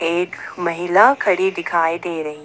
एक महिला खड़ी दिखाई दे रही।